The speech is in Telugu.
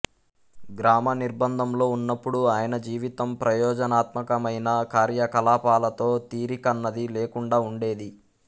గ్రామ నిర్భంధంలో ఉన్నప్పుడు ఆయన జీవితం ప్రయోజనాత్మకమైన కార్యకలాపాలతో తీరికన్నది లేకుండా ఉండేది